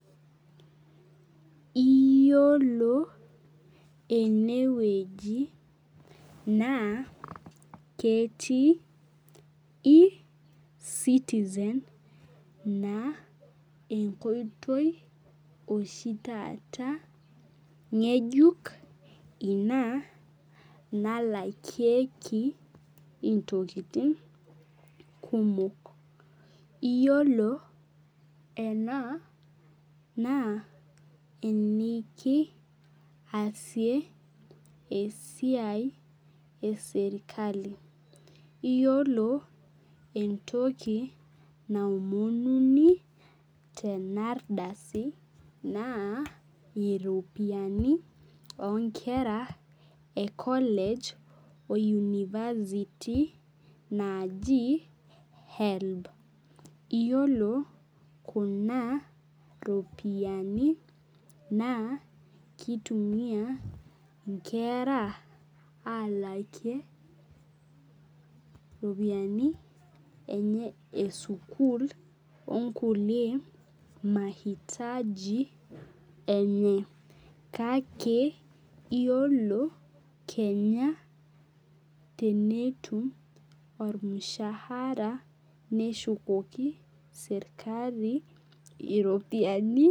Iyiolo enewueji naa, ketii e-citizen naa enkoitoi oshi taata ng'ejuk ina nalakie intokiting kumok. Iyiolo ena naa eniki asie esiai eserkali. Yiolo entoki naomonuni tenardasi, naa iropiyiani onkera e [cd] college o University naaji HELB. Iyiolo kuna ropiyiani naa, kitumia inkera alakie ropiyiani enye esukuul, onkulie mahitaji enye. Kake, yiolo kenya tenetum ormushaara, neshukoki serkali iropiyiani.